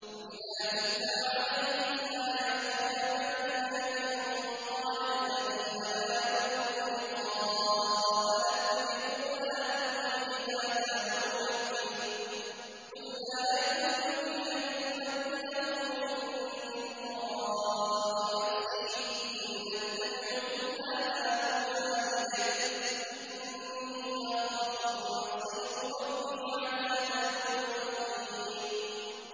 وَإِذَا تُتْلَىٰ عَلَيْهِمْ آيَاتُنَا بَيِّنَاتٍ ۙ قَالَ الَّذِينَ لَا يَرْجُونَ لِقَاءَنَا ائْتِ بِقُرْآنٍ غَيْرِ هَٰذَا أَوْ بَدِّلْهُ ۚ قُلْ مَا يَكُونُ لِي أَنْ أُبَدِّلَهُ مِن تِلْقَاءِ نَفْسِي ۖ إِنْ أَتَّبِعُ إِلَّا مَا يُوحَىٰ إِلَيَّ ۖ إِنِّي أَخَافُ إِنْ عَصَيْتُ رَبِّي عَذَابَ يَوْمٍ عَظِيمٍ